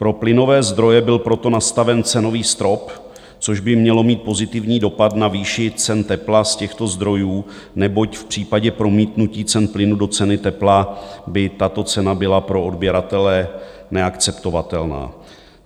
Pro plynové zdroje byl proto nastaven cenový strop, což by mělo mít pozitivní dopad na výši cen tepla z těchto zdrojů, neboť v případě promítnutí cen plynu do ceny tepla by tato cena byla pro odběratele neakceptovatelná.